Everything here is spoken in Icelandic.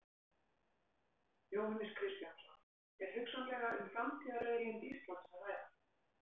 Jóhannes Kristjánsson: Er hugsanlega um framtíðarauðlind Íslands að ræða?